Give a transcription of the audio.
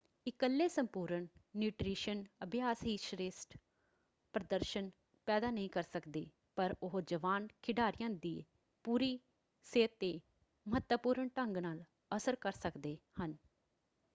ਇਕੱਲੇ ਸੰਪੂਰਨ ਨਿਊਟ੍ਰੀਸ਼ਨ ਅਭਿਆਸ ਹੀ ਸ੍ਰੇਸ਼ਠ ਪ੍ਰਦਰਸ਼ਨ ਪੈਦਾ ਨਹੀਂ ਕਰ ਸਕਦੇ ਪਰ ਉਹ ਜਵਾਨ ਖਿਡਾਰੀਆਂ ਦੇ ਪੂਰੀ ਸਿਹਤ ‘ਤੇ ਮਹੱਤਵਪੂਰਨ ਢੰਗ ਨਾਲ ਅਸਰ ਕਰ ਸਕਦੇ ਹਨ।